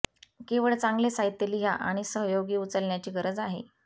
केवळ चांगले साहित्य लिहा आणि सहयोगी उचलण्याची गरज आहे